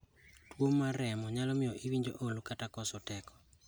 Tuwo mar remo nyalo miyo iwinj olo kata koso teko.